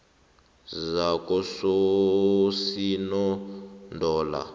zakososinondola